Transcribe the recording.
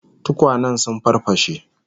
Tukwanen sun farfashe